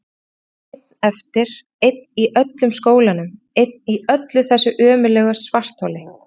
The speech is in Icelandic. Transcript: Og hann einn eftir, einn í öllum skólanum, einn í þessu ömurlega svartholi!